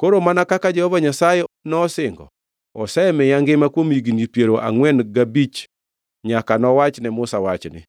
“Koro mana kaka Jehova Nyasaye nosingo, osemiya ngima kuom higni piero angʼwen gabich nyaka nowach ne Musa wachni,